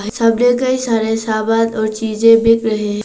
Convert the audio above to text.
कई सारे सामान और चीजें बिक रहे हैं।